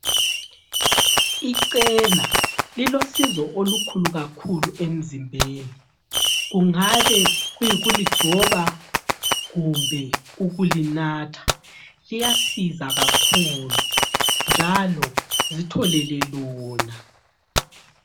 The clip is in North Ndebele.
Ichena lilosizo olukhulu emzimbeni. Kungabe kuyikuligcoba kumbe ukulinatha. Liyasiza kakhulu, njalo zitholele lona.